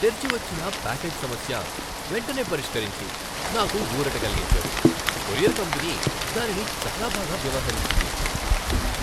తెరిచి వచ్చిన ప్యాకేజ్ సమస్య వెంటనే పరిష్కరించి నాకు ఊరట కలిగించారు. కొరియర్ కంపెనీ దానిని చాలా బాగా వ్యవహరించింది.